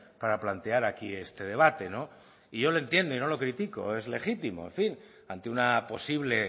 para plantear aquí este debate no y yo le entiendo y no lo critico es legítimo en fin ante una posible